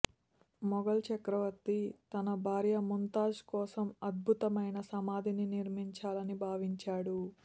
మెఘల్ చక్రవర్తి తన భర్య ముంతాజ్ కోసం అద్భుతమైన సమాధిని నిర్మించాలని భావించాడు